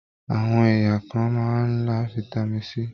Àwọn èèyàn kàn máa n là fitami C.